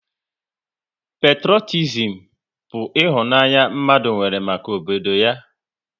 Petrotizim bụ ịhụnanya mmadụ nwere maka obodo ya